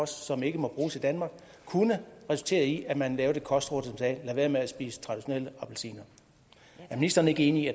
som ikke må bruges i danmark kunne resultere i at man lavede et kostråd sagde lad være med at spise traditionelle appelsiner er ministeren ikke enig